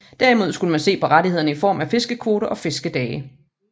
Derimod skulle man se på rettighederne i form af fiskekvoter og fiskedage